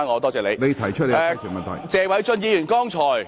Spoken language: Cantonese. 我現在請謝偉俊議員答辯。